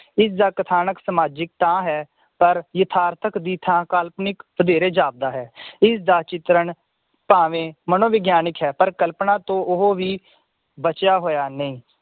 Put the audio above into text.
ਇਸਦਾ ਕਥਾਨਕ ਸਮਾਜਿਕ ਤਾਂ ਹੈ ਪਰ ਯਥਾਰਥਕ ਦੀ ਥਾਂ ਕਾਲਪਨਿਕ ਵਧੇਰੇ ਜਾਪਦਾ ਹੈ ਇਸਦਾ ਚਿਤਰਨ ਭਾਵੇਂ ਮਨੋਵਿਗਿਆਨਿਕ ਹੈ ਪਰ ਕਲਪਨਾ ਤੋਂ ਉਹ ਵੀ ਬਚਿਆ ਹੋਇਆ ਨਈ